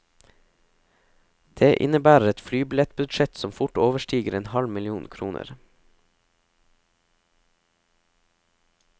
Det innebærer et flybillettbudsjett som fort overstiger en halv million kroner.